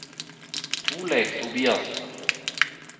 Torleif Tobiassen